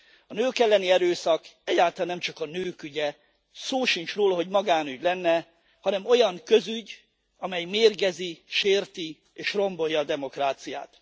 A nők elleni erőszak egyáltalán nem csak a nők ügye, szó sincs róla, hogy magánügy lenne, hanem olyan közügy, amely mérgezi, sérti és rombolja a demokráciát.